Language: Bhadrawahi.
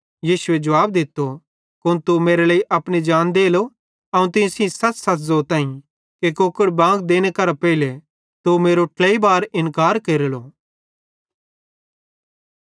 यीशुए जुवाब दित्तो कुन तू मेरे लेइ अपनी जान देलो अवं तीं सेइं सच़सच़ ज़ोताईं कि कुकड़ बांग देने करां पेइले तू मेरो ट्लेई बार इन्कार केरलो